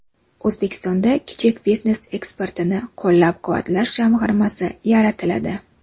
O‘zbekistonda Kichik biznes eksportini qo‘llab-quvvatlash jamg‘armasi yaratiladi.